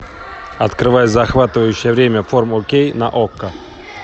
открывай захватывающее время фор кей на окко